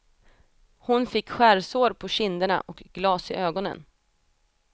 Hon fick skärsår på kinderna och glas i ögonen.